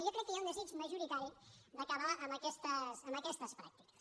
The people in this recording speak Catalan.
jo crec que hi ha un desig majoritari d’acabar amb aquestes pràctiques